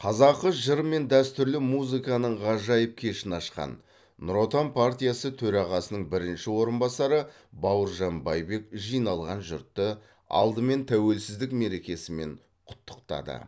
қазақы жыр мен дәстүрлі музыканың ғажайып кешін ашқан нұр отан партиясы төрағасының бірінші орынбасары бауыржан байбек жиналған жұртты алдымен тәуелсіздік мерекесімен құттықтады